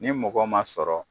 Ni mɔgɔ ma sɔrɔ